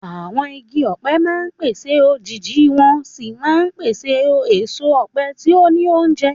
Àwọn igi ọ̀pẹ máa ń pèsè òjìji wọ́n sì máa ń pèsè èso ọ̀pẹ tí ó ní oúnjẹ.